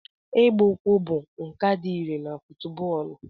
Ịgba ụkwụ bụ nkà dị irè na fútúbọọlu